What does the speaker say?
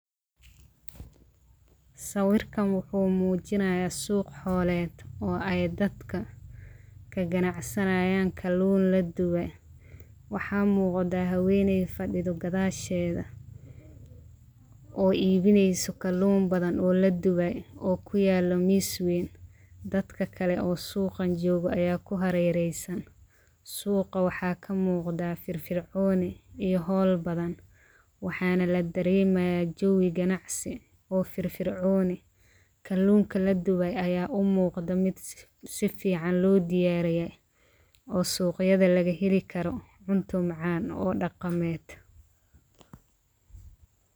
Sawirkan waxuu muujinaya suq xooled oo ay dadka ka ganacsanayan kalun ladube waxaa muqda habeenay fadhida gadaasheeda oo iibinayso kalun badan oo ladubay oo kuyaalo miis wayn. Dadka kale oo suuqan jooga aya ku harereysan suuqa waxaa ka muqdda firfircooni iyo hawl badan waxaana la dareemaya jawiga ganacsi oo firfircooni kalunka ladubay aya u muqda mid si fican loo diyaariye oo suqyada lagaheli karo cunto macaan oo dhaqameed.